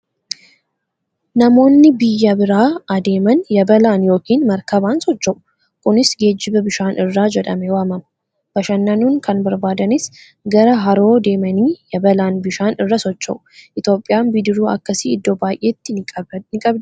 Namoonni biyyaa biraa adeeman yabalaan yookiin maarkabaan socho'u. Kunis geejjiba bishaan irraa jedhamee waamama. Bashannanuu kan barbaadanis gara haroo deemanii yabalaan bishaan irra socho'u. Itoophiyaan bidiruu akkasii iddoo baay'eetii ni qabdii?